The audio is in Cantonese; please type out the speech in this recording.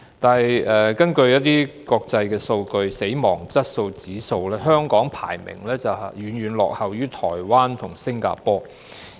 不過，根據一些國際數據，例如死亡質素指數方面，香港的排名遠遠落後於台灣和新加坡。